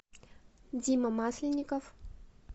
дима масленников